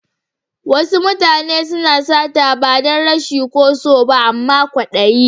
Wasu mutane na sata ba dan rashi ko so ba amma kwadayi.